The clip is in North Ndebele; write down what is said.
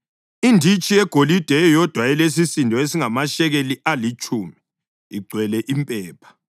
inditshi yegolide eyodwa elesisindo esingamashekeli alitshumi, igcwele impepha;